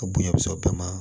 A bonya bɛ sɔrɔ o bɛɛ ma